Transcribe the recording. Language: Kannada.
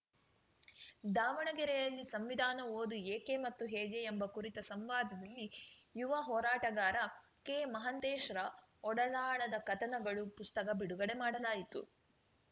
ದಾವಣಗೆರೆಯಲ್ಲಿ ಸಂವಿಧಾನ ಓದು ಏಕೆ ಮತ್ತು ಹೇಗೆ ಎಂಬ ಕುರಿತ ಸಂವಾದದಲ್ಲಿ ಯುವ ಹೋರಾಟಗಾರ ಕೆಮಹಾಂತೇಶ್‌ರ ಒಡಲಾಳದ ಕಥನಗಳು ಪುಸ್ತಕ ಬಿಡುಗಡೆ ಮಾಡಲಾಯಿತು